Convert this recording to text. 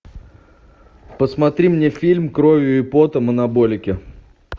посмотри мне фильм кровью и потом анаболики